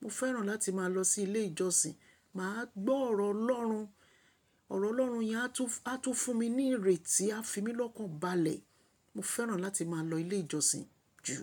Mo fẹ́ràn láti máa lọ sí ilé ìjọsìn. Mà á gbọ́ ọ̀rọ̀ Ọlọ́run. Ọ̀rọ̀ Ọlọ́run yẹn á tún a tun fún mi ní ìrètí, á fi mí lọ́kàn balẹ̀. Mo fẹ́ràn láti máa lọ ilé ìjọsìn jù.